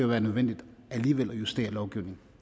være nødvendigt at justere lovgivningen